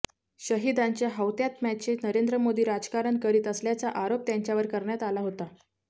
शहीदांच्या हौतात्म्याचे नरेंद्र मोदी राजकारण करीत असल्याचा आरोप त्यांच्यावर कऱण्यात आला होता